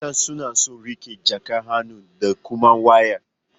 Mata suna son riƙe jakan hannu da kuma waya.